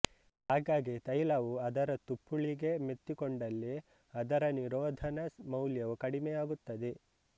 ಹಾಗಾಗಿ ತೈಲವು ಅದರ ತುಪ್ಪುಳಿಗೆ ಮೆತ್ತಿಕೊಂಡಲ್ಲಿ ಅದರ ನಿರೋಧನ ಮೌಲ್ಯವು ಕಡಿಮೆಯಾಗುತ್ತದೆ